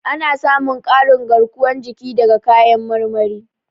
Ana samun ƙarin garkuwar jiki daga kayan marmari.